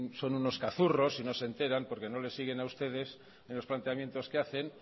son unos cazurros y no les siguen a ustedes en los planteamientos que hacen